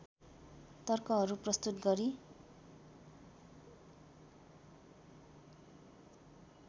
तर्कहरू प्रस्तुत गरी